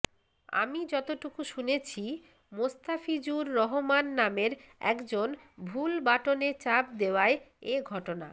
আমি যতটুকু শুনেছি মোস্তাফিজুর রহমান নামের একজন ভুল বাটনে চাপ দেওয়ায় এ ঘটনা